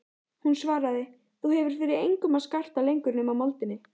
Hún svaraði: Þú hefur fyrir engum að skarta lengur nema moldinni.